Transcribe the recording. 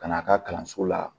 Ka n'a ka kalanso la